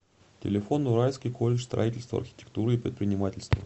телефон уральский колледж строительства архитектуры и предпринимательства